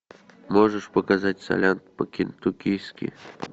можешь показать солянку по кентуккийски